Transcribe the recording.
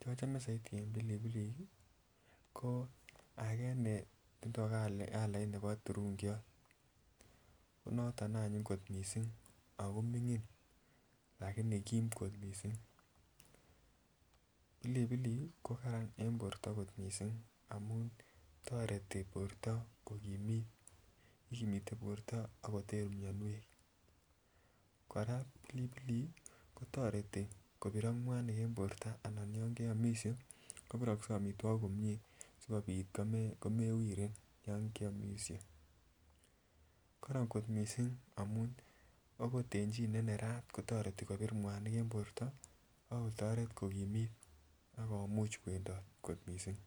chochome soiti en pilipilik ko agee ne tindoo calait nebo turungiot ko noton anyun ne anyiny kot missing ako migin lakini kim kot missin, piliplik ko karan en borto kot missing amun toreti borto ko kokimit, ikimitee borto akoter mionwek, koraa pilipilik kotoretii kobirok mwanik en borto anan yon keomishe kobire omitwokik komie asikopit ko ko mewiren yon keomishe. Koron kot missing amun akot en chii ne nerat ko toretii kobir mwanik en borto ako toret kokimit ak kwendot kot missing